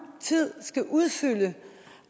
tid skal udfylde den